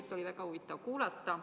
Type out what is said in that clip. Seda oli väga huvitav kuulata.